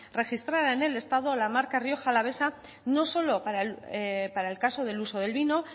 registrara en el estado la marca rioja alavesa no solo para el caso del uso del vino